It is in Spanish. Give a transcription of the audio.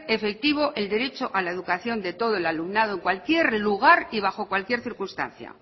efectivo el derecho a la educación de todo el alumnado en cualquier lugar y bajo cualquier circunstancia